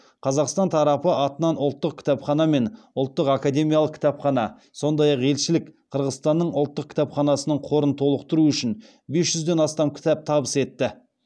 қазақстан тарапы атынан ұлттық кітапхана мен ұлттық академиялық кітапхана сондай ақ елшілік қырғызстанның ұлттық кітапханасының қорын толықтыру үшін бес жүзден астам кітап табыс етті